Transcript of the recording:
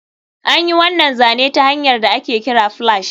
An yi wannan zane ta hanyar da ake kira splash